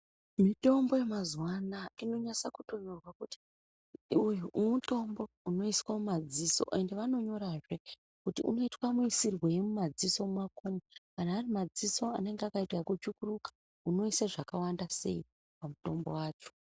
Mitombo yemazuwanaya inonyasa kutonyorwa kuti uyu mutombo unoiswa mumadziso ende vanonyorazve kuti unoitwa muisirwei mumadziso mwako umu kana arimadziso anenge akaita eku tsvukuruka unoise zvakawanda sei pamutombo wacho.